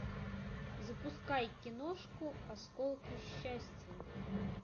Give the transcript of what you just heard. запускай киношку осколки счастья